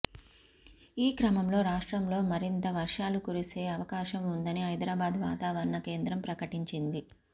ఈ క్రమంలో రాష్ట్రంలో మరింతగా వర్షాలు కురిసే అవకాశం వుందని హైదరాబాద్ వాతావరణ కేంద్రం ప్రకటించింది